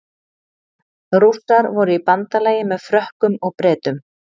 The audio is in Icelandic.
Rússar voru í bandalagi með Frökkum og Bretum.